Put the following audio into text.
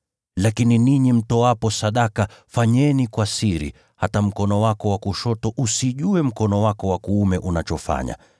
Lakini ninyi mtoapo sadaka, fanyeni kwa siri, hata mkono wako wa kushoto usijue mkono wako wa kuume unachofanya,